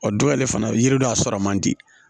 O dɔ yɛrɛ fana yiri dɔ sɔrɔ man di